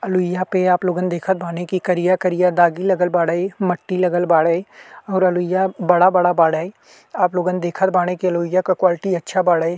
अलुईया पे आप लोगन देखत बानी कि करिया-करिया दागी लगल बाड़े। मट्टी लगल बाड़े और अलुईया बड़ा-बड़ा बाड़े। आप लोगन देखत बाड़ी कि अलुईया क क्वालिटी अच्छा बाड़े।